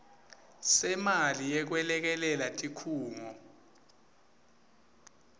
semali yekwelekelela tikhungo